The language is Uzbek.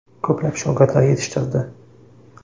Ko‘plab shogirdlar yetishtirdi.